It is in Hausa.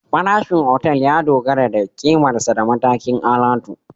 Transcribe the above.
Farashin otal ya dogara da ƙimarsa da matakin alatu